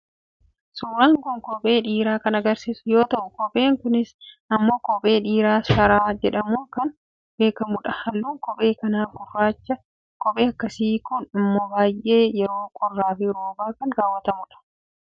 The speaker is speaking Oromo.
suuraan kun kophee dhiiraa kan agarsiisu yoo ta'u, kopheen kunis immoo kophee dhiiraa sharaa jedhamuun kan beekamudha. halluun kophee kanaa gurraachadha. kopheen akkasii kun immoo yeroo baay'ee yeroo qorraafi roobaa kan kaawwatamudha.